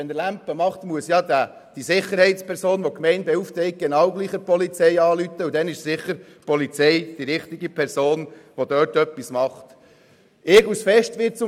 Wenn er Ärger macht, muss die von der Gemeinde beauftragte Sicherheitsperson sowieso die Polizei rufen, und dann sind die Polizisten sicher die richtigen, um etwas zu tun.